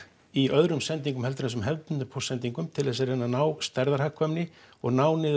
í öðrum sendingum en þessum hefðbundnu póstsendingum til þess að reyna að ná stærðarhagkvæmni og ná niður